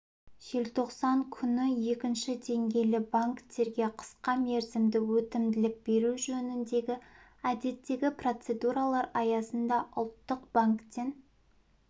желтоқсан күні екінші деңгейлі банктерге қысқа мерзімді өтімділік беру жөніндегі әдеттегі процедуралар аясында ұлттық банктен